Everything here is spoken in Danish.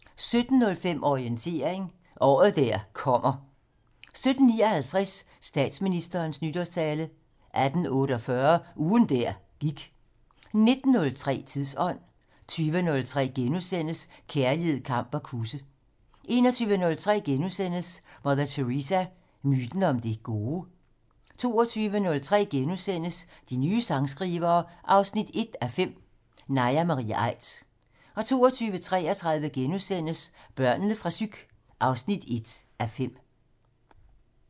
17:05: Orientering: året der kommer 17:59: Statsministerens nytårstale 18:48: Ugen der gik 19:03: Tidsånd 20:03: Kærlighed, kamp og kusse * 21:03: Mother Teresa - myten om det gode? * 22:03: De nye sangskrivere 1:5 - Naja Marie Aidt * 22:33: Børnene fra psyk 1:5 *